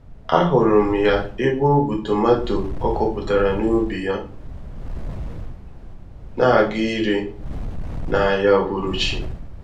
A hụrụ m ya ebe o bu tomato ọ kọpụtara n'ubi yá, n'aga ire, n'ahịa uhuruchi.